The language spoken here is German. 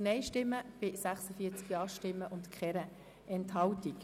Gesetz betreffend die Einführung des Schweizerischen Zivilgesetzbuches [EG ZGB]